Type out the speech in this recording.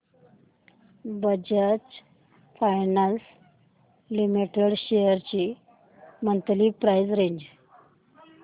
Bajaj Finance Limited shares ची monthly price range